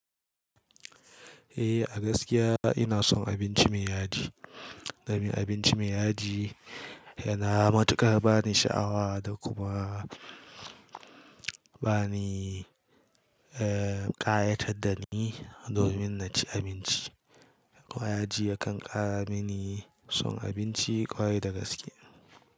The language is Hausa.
Eh, a gaskiya ina son abinci mai yaji. Domin abinci mai yaji yana matuƙar bani sha'awa da kuma bani, eh, ƙayatar da ni domin na ci abinci. Ƙwaya ji ya kan ƙara mini son abinci ƙwarai da gaske.